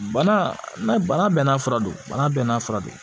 Bana bana bɛɛ n'a fura don bana bɛɛ n'a fura don